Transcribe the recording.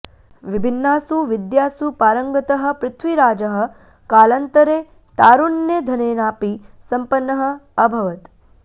विभिन्नासु विद्यासु पारङ्गतः पृथ्वीराजः कालान्तरे तारुण्यधनेनापि सम्पन्नः अभवत्